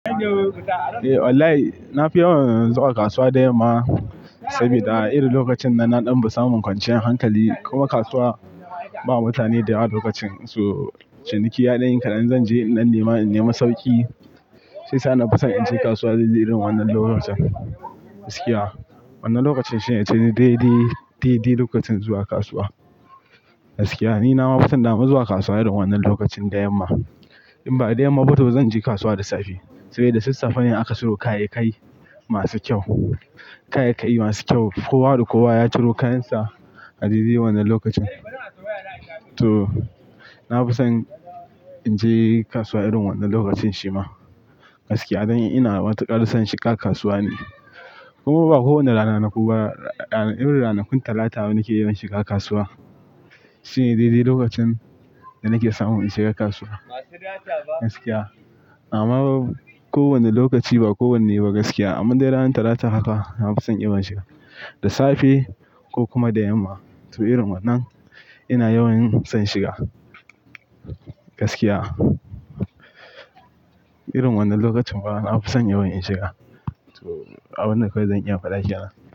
Eh wallahi, na fi yawan zuwa kasuwa da yamma. Saboda irin lokacin nan na ɗan fin samun kwanciyar hankali. Kuma kasuwa ba mutane da yawa lokacin su. Ciniki ya dan yi kaɗan, zan je in dan nema in nema sauƙi. Shiyasa na fi son in je kasuwa a irin wannan lokacin. Gaskiya. Wannan lokacin shine daidai, daidai lokacin zuwa kasuwa. Gaskiya ni na fi son dama zuwa kasuwa irin wannan lokacin da yamma. In ba da yamma ba to zan je kasuwa da safe. Sai dai da sassafe ne ake siyo kayayyaki masu kyau. Kayayyaki masu kyau. Kowa da kowa ya ciro kayan sa a lilin wannan lokacin. To, na fi son in je kasuwa irin wannan lokacin shi ma. Gaskiya, ina matukar son shiga kasuwa ne. Kuma ba kowane rana na ko ba irin ranakun Talata ne nake yawan shiga kasuwa. Shine daidai lokacin da nake samun in shiga kasuwa. Gaskiya. Amma kowane lokaci ba kowanne ba gaskiya. Amma dai ranar Talata haka na fi son yawan shiga. Da safe ko kuma da yamma. To irin wannan ina yawan son shiga. Gaskiya. Irin wannan lokacin bana ma na fi son yawan in shiga. To abun da kawai zan iya faɗa kenan.